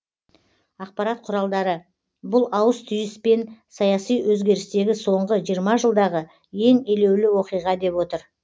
ақпарат құралдары бұл ауыс түйіс пен саяси өзгерістегі соңғы жиырма жылдағы ең елеулі оқиға деп отыр